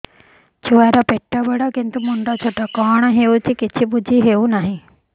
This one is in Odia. ଛୁଆର ପେଟବଡ଼ କିନ୍ତୁ ମୁଣ୍ଡ ଛୋଟ କଣ ହଉଚି କିଛି ଵୁଝିହୋଉନି